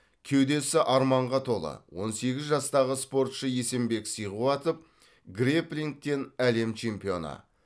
кеудесі арманға толы он сегіз жастағы спортшы есенбек сиғуатов грэпплингтен әлем чемпионы